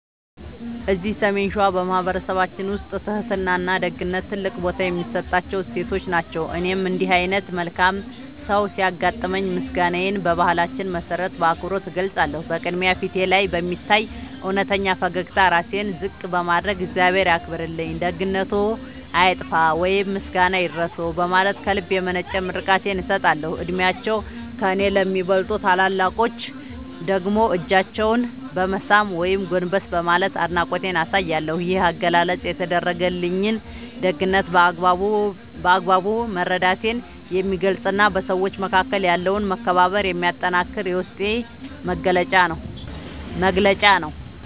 እዚህ ሰሜን ሸዋ በማኅበረሰባችን ውስጥ ትሕትናና ደግነት ትልቅ ቦታ የሚሰጣቸው እሴቶች ናቸው። እኔም እንዲህ ዓይነት መልካም ሰው ሲያጋጥመኝ ምስጋናዬን በባህላችን መሠረት በአክብሮት እገልጻለሁ። በቅድሚያ፣ ፊቴ ላይ በሚታይ እውነተኛ ፈገግታና ራሴን ዝቅ በማድረግ "እግዚአብሔር ያክብርልኝ፣ ደግነትዎ አይጥፋ" ወይም "ምስጋና ይድረስዎ" በማለት ከልብ የመነጨ ምርቃቴን እሰጣለሁ። ዕድሜያቸው ከእኔ ለሚበልጡ ታላላቆች ደግሞ እጃቸውን በመሳም ወይም ጎንበስ በማለት አድናቆቴን አሳያለሁ። ይህ አገላለጽ የተደረገልኝን ደግነት በአግባቡ መረዳቴን የሚገልጽና በሰዎች መካከል ያለውን መከባበር የሚያጠነክር የውስጤ መግለጫ ነው።